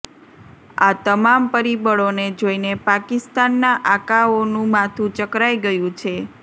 આ તમામ પરિબળોને જોઈને પાકિસ્તાનના આકાઓનું માથું ચક્કરાઈ ગયું છે